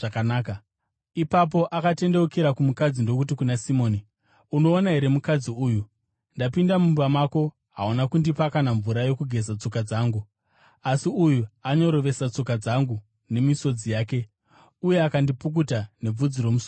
Ipapo akatendeukira kumukadzi ndokuti kuna Simoni, “Unoona here mukadzi uyu? Ndapinda mumba mako; hauna kundipa kana mvura yokugeza tsoka dzangu, asi uyu anyorovesa tsoka dzangu nemisodzi yake uye akadzipukuta nebvudzi romusoro wake.